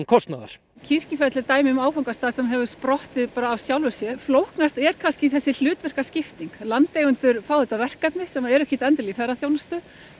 kostnaðar Kirkjufell er dæmi um áfangastað sem hefur sprottið bara af sjálfu sér flóknust er kannski þessi hlutverkaskipting landeigendur fá þetta verkefni sem eru ekkert endilega í ferðaþjónustu